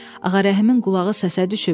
Bəlkə Ağarəhimin qulağı səsə düşüb.